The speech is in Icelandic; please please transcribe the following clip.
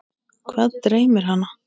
Hvað dreymir hana?